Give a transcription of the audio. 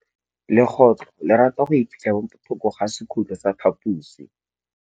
Legôtlô le rata go iphitlha mo thokô ga sekhutlo sa phaposi.